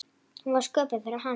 Hún var sköpuð fyrir hann.